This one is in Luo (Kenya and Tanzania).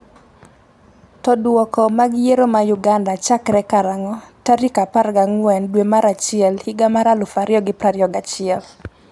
to Duoko mag yiero ma Uganda chakre karang'o tarik 14 dwe mar achiel higa mar 2021?